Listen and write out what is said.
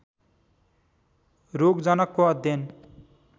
रोगजनकको अध्ययन